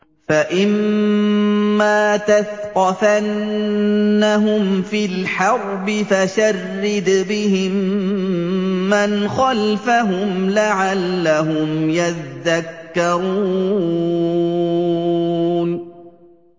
فَإِمَّا تَثْقَفَنَّهُمْ فِي الْحَرْبِ فَشَرِّدْ بِهِم مَّنْ خَلْفَهُمْ لَعَلَّهُمْ يَذَّكَّرُونَ